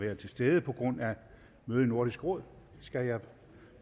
at være til stede på grund af møde i nordisk råd skal jeg